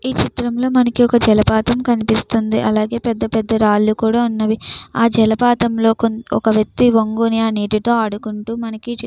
ఈ చిత్రంగా మనకి ఒక జలపాతం కనిపిస్తుంది. అలాగే పెద్ద పెద్ద రాళ్లు కూడా ఉన్నది. ఆ జలపాతం ఆ వ్యక్తి ఒంగోని నీటితోనే ఆడుకుంటూ మనకి --